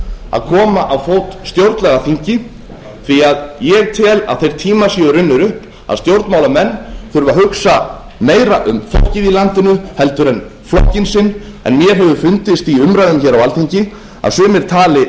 að koma á fót stjórnlagaþingi því að ég tel að þeir tímar séu runnir upp að stjórnmálamenn þurfi að hugsa meira um fólkið í landinu en flokkinn sinn en mér hefur fundist í umræðum hér á alþingi að sumir tali